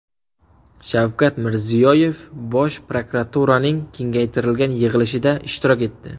Shavkat Mirziyoyev Bosh prokuraturaning kengaytirilgan yig‘ilishida ishtirok etdi.